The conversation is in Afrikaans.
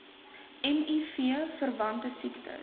miv verwante siektes